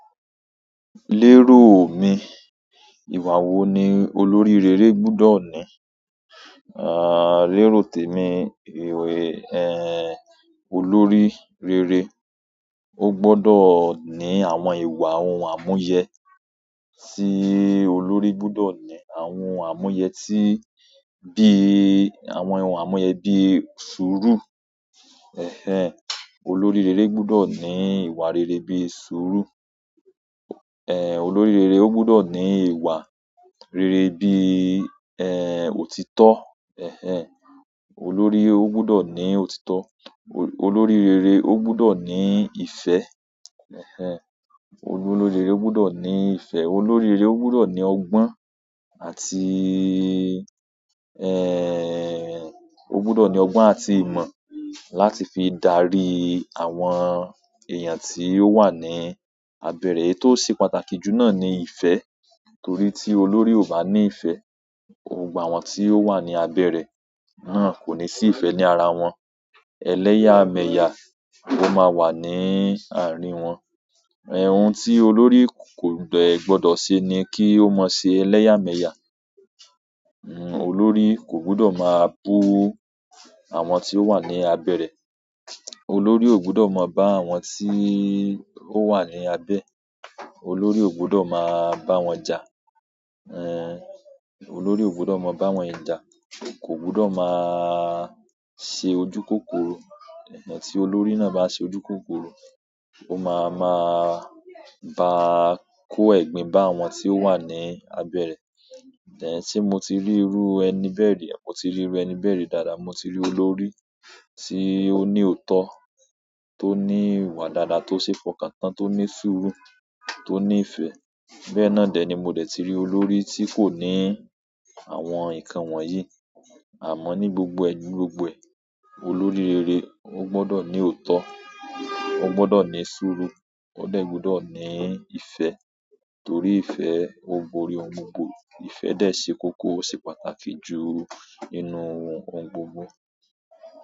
Lérò mi, ìwà wo ni olórí rere gbudo ní? Eh, lero temi, iru eh, olórí rere o gbodo ni àwọn ìwà ohun a mu ye tí olórí gbudọ̀ ní àwọn ohun àmúyẹ tí bí i àwọn ohun àmúyẹ bí i sùúrù. Ẹhẹn, olórí rere gbudọ̀ ní ìwà rere bí i sùúrù. Ẹn, olórí rere ó gbudọ̀ ní ìwà rere bí i, ẹ́ẹ́, òtítọ́. Ẹhẹn, olórí ó gbọ́dọ̀ ní òtítọ́. Olórí rere ó gbọ́dọ̀ ní ìfẹ́. Ẹhẹn, olórí rere ó gbudọ̀ ní ìfẹ́. Olórí rere ó gbudọ̀ ní ọgbọ́n àti, ẹ́ẹ́, ó gbudọ̀ ní ọgbọ́n àti ìmọ̀ láti fi dárí àwọn èèyàn tí ó wà ní abẹ́ rẹ̀. Tó ṣe pàtàkì jù náà ni ìfẹ́, torí tí olórí ò bá ní ìfẹ́, àwọn tí ó wà ní abẹ́ rẹ̀ náà kò ní sí ìfẹ́ ní ara wọn. Eleyameya lo maa wa ni àárín won ohun tí olórí kò de gbodo ṣe ni kí ó má ṣe ẹlẹ́yàmẹ̀yà. Olórí kò gbọ́dọ̀ máa bú àwọn tí ó wà ní abẹ́ rẹ̀. Olórí ò gbudọ̀ máa bá àwọn tí ó wà ní abẹ́, olórí ò gbudọ̀ máa bá wọn jà. Ẹn, olórí ò gbọ́dọ̀ máa bá wọn jà. Kò gbudọ̀ máa ṣe ojúkòkòro. Ẹ̀hẹn tí olórí náà bá ṣe ojúkòkòro, ó máa ma bá a kó ẹ̀gbin bá àwọn tí ó wà ní abẹ́ rẹ̀. Ẹ̀hẹn tí mo ti rí irú ẹni bẹ́ẹ̀ rí, mo ti rí ẹni bẹ́ẹ̀ rí dáadáa. Mo ti rí olórí tí ó ní òótọ́, tó ní ìwà dáadáa, tó ṣe é fọkàn tán, tó ní sùúrù, tó ní ìfẹ́. Bẹ́ẹ́ náà dẹ̀ ni mo dẹ̀ ti rí olórí tí kò ní àwọn nǹkan wọ̀nyí. Àmọ́ ní gbogbo ju, gbogbo e, olórí rere ó gbọ́dọ̀ ní òótọ́, ó gbọ́dọ̀ ní sùúrù, ó de gbudọ̀ ní ìfẹ́. Torí ìfẹ́ o borí ohun gbogbo. Ìfẹ́ dẹ̀ ṣe kókó, ó ṣe pàtàkì jù nínú ohun gbogbo.